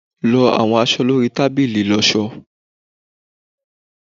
lọ awọn aṣọ lori tabili iloso